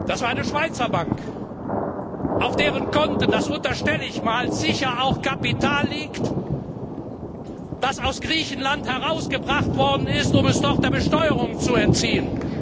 Das war eine Schweizer Bank, auf deren Konten das unterstelle ich einmal sicher auch Kapital liegt, das aus Griechenland herausgebracht worden ist, um es dort der Besteuerung zu entziehen.